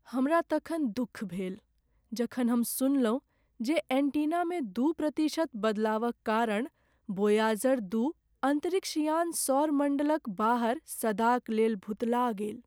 हमरा तखन दुख भेल जखन हम सुनलहुँ जे एन्टीनामे दू प्रतिशत बदलावक कारण वोयाजर दू अन्तरिक्ष यान सौर मण्डलक बाहर सदाक लेल भुतला गेल।